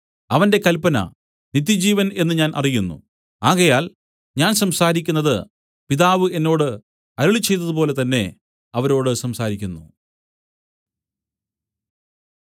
അവന്റെ കല്പന നിത്യജീവൻ എന്നു ഞാൻ അറിയുന്നു ആകയാൽ ഞാൻ സംസാരിക്കുന്നത് പിതാവ് എന്നോട് അരുളിച്ചെയ്തതുപോലെ തന്നേ അവരോട് സംസാരിക്കുന്നു